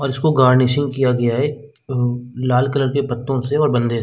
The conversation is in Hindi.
और इसको गार्निशिंग किया गया है अम लाल कलर के पत्तों से और बंदे --